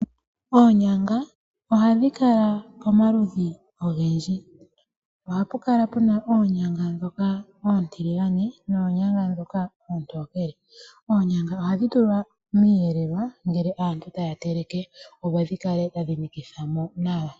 Oonyanga ohadhi kala pomaludhi ogendji ohapu kala puna oonyanga ndhoka oontiligane noonyanga ndhoka oontokele. Oonyanga ohadhi tulwa miiyelelwa ngele aantu taya teleke opo dhikale tadhi nikitha mo nawa.